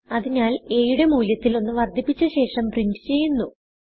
അതിനാൽ aയുടെ മൂല്യത്തിൽ 1 വർദ്ധിപ്പിച്ച ശേഷം പ്രിന്റ് ചെയ്യുന്നു